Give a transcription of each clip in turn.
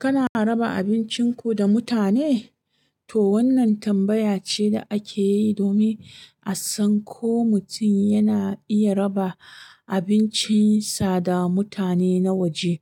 Kana raba abincinku da mutane? To wannan tambaya ce da ake yi domin a san ko mutum yana iya raba abincinsa da mutane na waje.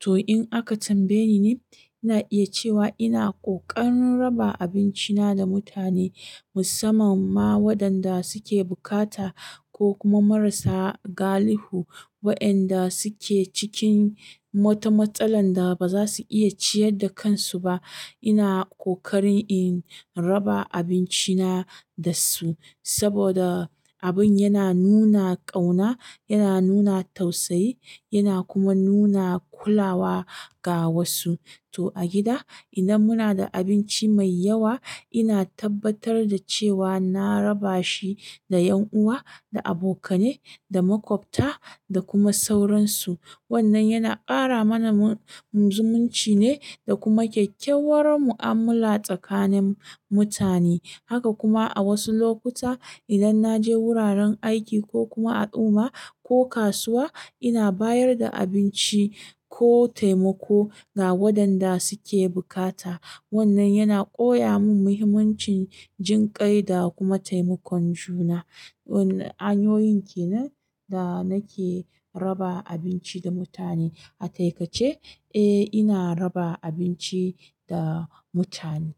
To in aka tambaye ni, ina iya cewa ina ƙoƙarin raba abinci na da mutane, musamman ma waɗanda suke bukata ko kuma marasa galihu. Wayanda suke cikin wata matsalar da baza su iya ciyarda kansu ba ina ƙoƙarin in raba abinci na da su saboda abin yana nuna ƙauna, yana nuna tausayi, yana kuma nuna kulawa ga wasu. To a gida, idan muna da abinci mai yawa, ina tabbatar da cewa na raba shi da ƴan uwa, da abokane, da makwabta da kuma sauransu. Wannan yana ƙara mana zumunci ne da kuma kyakkyawar mu'amala tsakanin mutane. Haka kuma a wasu lokuta idan na je wuraren aiki ko kuma al'uuma, ko kasuwa ina bayar da abinci ko taimako ga waɗanda suke bukata. Wannan yana koya min muhimmancin jinƙai da kuma taimakon juna. Wannan hanyoyin ke nan da nake raba abinci da mutane. A taikace, eh ina raba abinci da mutane.